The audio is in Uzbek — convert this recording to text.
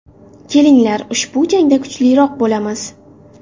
Kelinglar, ushbu jangda kuchliroq bo‘lamiz.